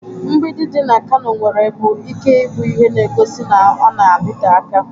Mgbidi dị na Kano nwerebu ike bụ ihe na-egosi na ọ na-adịte aka.